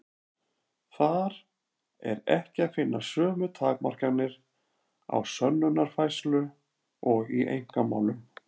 Þar er ekki að finna sömu takmarkanir á sönnunarfærslu og í einkamálum.